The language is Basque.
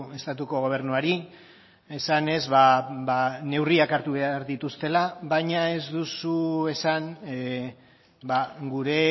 estatuko gobernuari esanez neurriak hartu behar dituztela baina ez duzu esan gure